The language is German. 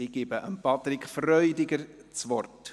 Ich gebe Patrick Freudiger das Wort.